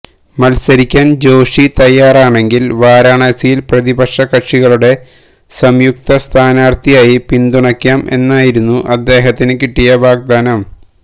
മത്സരിക്കാന് ജോഷി തയ്യാറണെങ്കില് വാരാണാസിയില് പ്രതിപക്ഷകക്ഷികളുടെ സംയുക്ത സ്ഥാനാര്ഥിയായി പിന്തുണയ്ക്കാം എന്നായിരുന്നു അദ്ദേഹത്തിന് കിട്ടിയ വാഗ്ദാനം